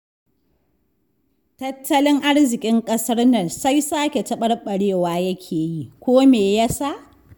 Tattalin arzikin ƙasar nan sai sake taɓarɓarewa yake yi, ko me ya sa?